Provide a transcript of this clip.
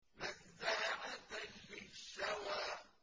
نَزَّاعَةً لِّلشَّوَىٰ